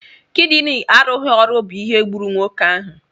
Kidini arụghi ọrụ bụ ihe gburu nwoke ahụ.